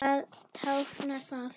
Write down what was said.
Hvað táknar það?